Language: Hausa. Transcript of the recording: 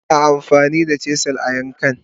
Ana amfani da chisels a yankan..